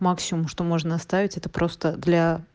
максимум что можно оставить это просто для